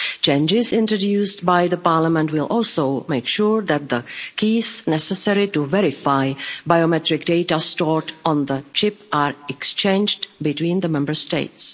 Changes introduced by Parliament will also make sure that the keys necessary to verify biometric data stored on the chip are exchanged between the Member States.